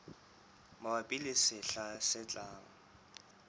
mabapi le sehla se tlang